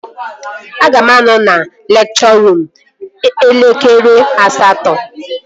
Aga m anọ na lekchọ ruum eve elekere asatọ